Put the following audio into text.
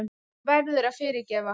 Þú verður að fyrirgefa.